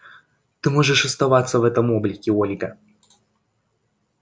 ты можешь оставаться в этом облике ольга